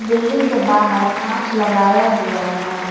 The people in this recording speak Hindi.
बिल्डिंग के बाहर कांच लगाया हुआ है।